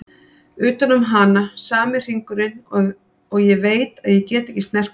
Utan um hana sami hringurinn og ég veit að ég get ekki snert hana.